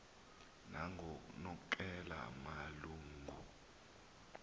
nangoknonkela malu ngu